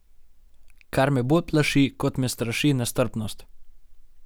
Kar me bolj plaši, kot me straši nestrpnost.